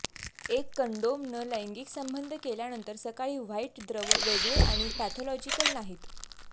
एक कंडोम न लैंगिक संबंध केल्यानंतर सकाळी व्हाइट द्रव वेगळे आणि पॅथॉलॉजीकल नाहीत